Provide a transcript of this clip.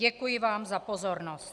Děkuji vám za pozornost.